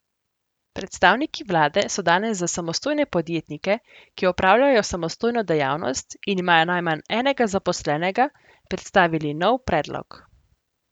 Predstavniki vlade so danes za samostojne podjetnike, ki opravljajo samostojno dejavnost in imajo najmanj enega zaposlenega, predstavili nov predlog.